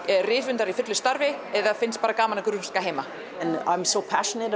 rithöfundar í fullu starfi eða finnst bara gaman að grúska heima þú persónulega